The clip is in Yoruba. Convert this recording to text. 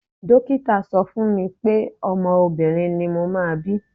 Dókítà sọ fún mi pé ọmọ obìnrin ni mo máa bí.